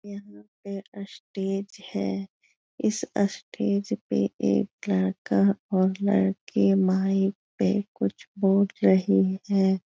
यहाँ पे स्टेज है इस स्टेज पे एक लड़का और लड़की माइक पे कुछ बोल रहे हैं।